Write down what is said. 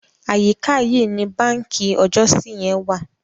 Àyíká yìí ni báǹkì ọjọ́si yẹn wà.